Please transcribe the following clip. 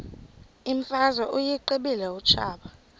imfazwe uyiqibile utshaba